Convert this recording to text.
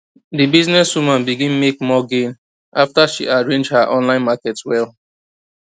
di business woman begin make more gain after she arrange her online market well